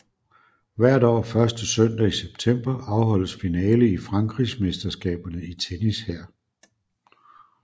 Hvert år første søndag i september afholdes finale i Frankrigsmesterskaberne i tennis her